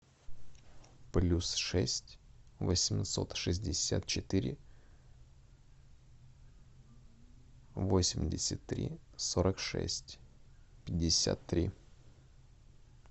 плюс шесть восемьсот шестьдесят четыре восемьдесят три сорок шесть пятьдесят три